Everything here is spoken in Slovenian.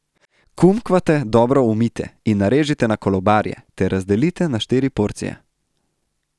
Kumkvate dobro umijte in narežite na kolobarje ter razdelite na štiri porcije.